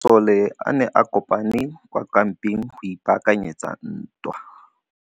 Masole a ne a kopane kwa kampeng go ipaakanyetsa ntwa.